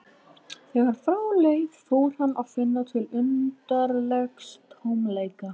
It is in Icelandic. Þegar frá leið fór hann að finna til undarlegs tómleika.